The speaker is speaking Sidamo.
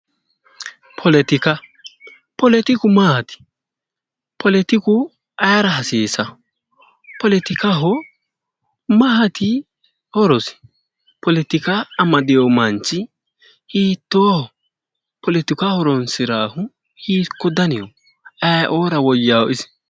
Politiku maati politiku ayioora hasiisaa politikaho maati horosi politika amadewo manchi hitoohho politiku ayioora hasiissanno